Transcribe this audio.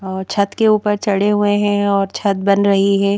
और छत के ऊपर चढ़े हुए हैं और छत बन रही है।